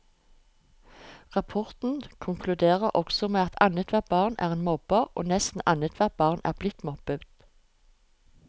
Rapporten konkluderer også med at annethvert barn er en mobber, og nesten annethvert barn er blitt mobbet.